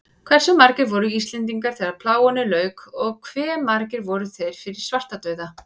Hversu margir voru Íslendingar þegar plágunni lauk og hve margir voru þeir fyrir svartadauða?